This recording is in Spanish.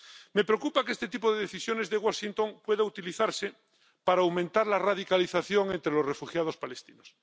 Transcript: Me preocupa que este tipo de decisiones de Washington pueda utilizarse para aumentar la radicalización entre los refugiados palestinos.